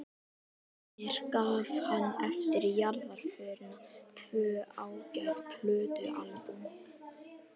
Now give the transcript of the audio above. Mér gaf hann eftir jarðarförina tvö ágæt plötualbúm.